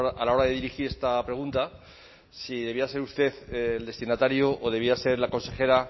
a la hora de dirigir esta pregunta si debía ser usted el destinatario o debía ser la consejera